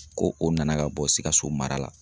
Ko o nana ka bɔ Sikasso mara la.